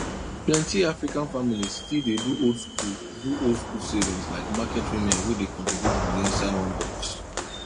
plenty african families still dey do old school do old school savings like market women wey dey contribute money inside one box